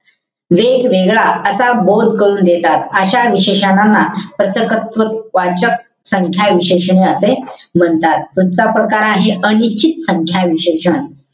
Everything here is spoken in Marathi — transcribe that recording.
वेगवेगळा असा बोध करून देतात. अशा विशेषणांना प्रथक्त्व वाचक संख्या विशेषण असे म्हणतात. पुढचा प्रकार आहे, अनिश्चित संख्या विशेषण.